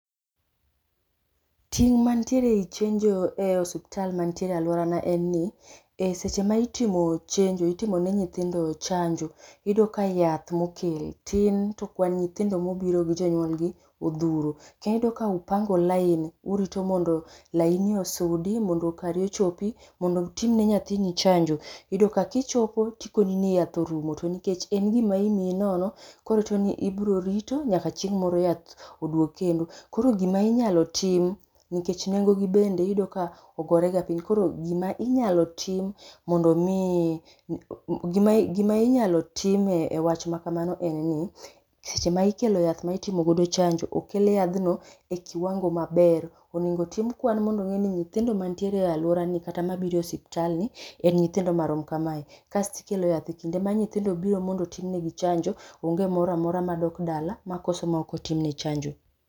Ting ma nitiere ei chenjo e osiptal mantie e alworana en ni, e seche ma itimo chenjo, itimo ne nyithindo chanjo, iyudo ka yath mokel tin, to kwan nyithindo ma obiro gi jonywol gi odhuro. Kendo iyudo ka upango laini, urito mondo laini osudi mondo kari ochopi, mondo otimne nyathini chanjo. Iyudo ka kichopo tikoni ni yath orumo, to nikech en gima imii nono, koro chuno ni ibrorito nyaka chieng' moro yath oduog kendo. Koro gima inyalo tim, nikech nengo gi bende iyudo ka ogorega piny, koro gima inyalo tim, mondo omi gima, gima inyalo time e wach ma kamano en ni, seche ma ikelo yath ma itimo godo chanjo, Okel yadhno e kiwango maber. Onego otim kwan mondo one ni nyithindo mantiere e alworani, kata mabiro e osiptal ni en nyithindo marom kamae, kasto ikelo yath e kinde ma nyithindo biro mondo otimnegi chanjo, onge moramora madok dala makoso makotimne chanjo.